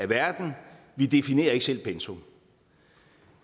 verden vi definerer ikke selv pensum